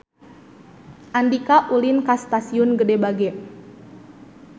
Andika ulin ka Stasiun Gede Bage